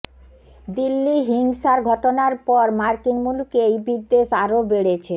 দিল্লি হিংসার ঘটনার পর মার্কিন মুলুকে এই বিদ্বেষ আরও বেড়েছে